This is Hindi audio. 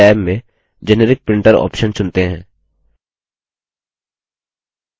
यहाँ हम साधारण टैब में generic printer option चुनते हैं